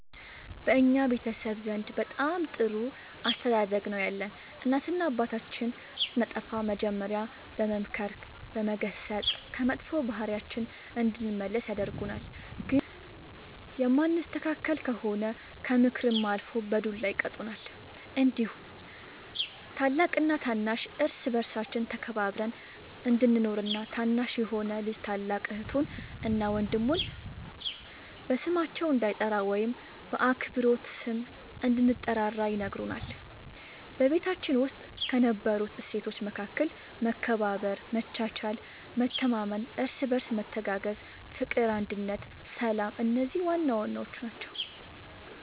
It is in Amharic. በእኛ ቤተሰብ ዘንድ በጣም ጥሩ አስተዳደግ ነው ያለን እናትና አባታችን ስናጠፋ መጀሪያ በመምከር በመገሰፅ ከመጥፎ ባህሪያችን እንድንመለስ ያደርጉናል ግን የማንስተካከል ከሆነ ከምክርም አልፎ በዱላ ይቀጡናል እንዲሁም ታላቅና ታናሽ እርስ በርሳችን ተከባብረን እንድንኖር እና ታናሽ የሆነ ልጅ ታላቅ እህቱን እና ወንድሙ በስማቸው እንዳይጠራ ወይም በአክብሮት ስም እንድንጠራራ ይነግሩናል በቤታችን ውስጥ ከነበሩት እሴቶች መካከል መከባበር መቻቻል መተማመን እርስ በርስ መተጋገዝ ፍቅር አንድነት ሰላም እነዚህ ዋናዋናዎቹ ናቸው